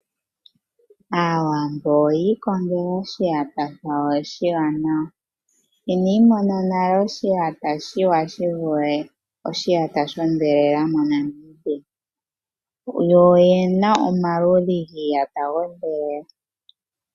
Aawambo oyi ikongela oshiyata shawo oshanawa, inandi mona nale oshiyata oshanawa shivule oshiyata shondhelela moNamibia, yo oyena omaludhi giiyata yoondhelela ogendji.